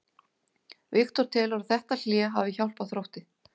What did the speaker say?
Viktor telur að þetta hlé hafi hjálpað Þrótti.